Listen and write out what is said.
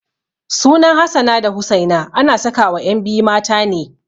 Sunan Hassana da Husaina ana sakawa ƴan biyu mata ne.